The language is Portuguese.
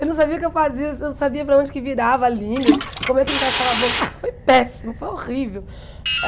Eu não sabia o que eu fazia, se eu não sabia para onde que virava a língua, como é que encaixava a boca, foi péssimo, foi horrível.